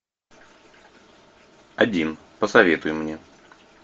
один посоветуй мне